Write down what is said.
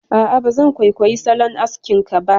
A'a, ba zan kwaikwayi salon askin ka ba